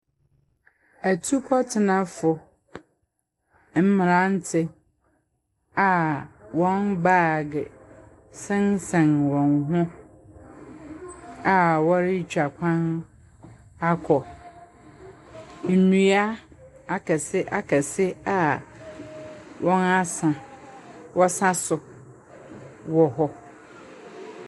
Ɛtukɔtenafo mmeranti a wɔn baag sensan wɔn hɔ a wɔretwa kwan akɔ. Ndua akɛse akɛse wɔn ase wɔ saso wɔ hɔ.